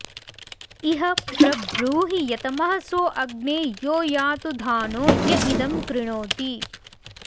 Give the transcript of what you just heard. इह प्र ब्रूहि यतमः सो अग्ने यो यातुधानो य इदं कृणोति